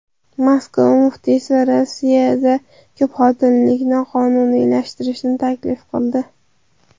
Moskva muftiysi Rossiyada ko‘pxotinlilikni qonuniylashtirishni taklif qildi.